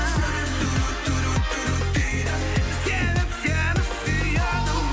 жүрек дейді себеп сені сүйеді